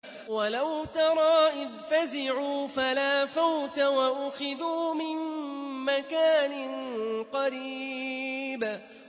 وَلَوْ تَرَىٰ إِذْ فَزِعُوا فَلَا فَوْتَ وَأُخِذُوا مِن مَّكَانٍ قَرِيبٍ